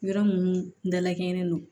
Yɔrɔ minnu dalakɛɲɛlen don